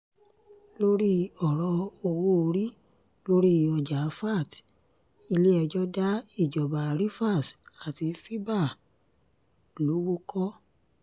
lórí ọ̀rọ̀ owó-orí lórí ọjà vat ilé-ẹjọ́ dá ìjọba rivers àti fiba lowó kọ̀